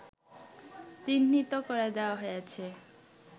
চিহ্নিত করে দেওয়া হয়েছে